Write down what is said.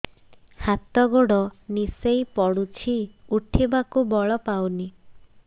ହାତ ଗୋଡ ନିସେଇ ପଡୁଛି ଉଠିବାକୁ ବଳ ପାଉନି